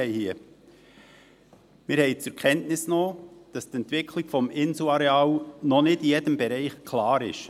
Wir haben zur Kenntnis genommen, dass die Entwicklung des Inselareals noch nicht in jedem Bereich klar ist.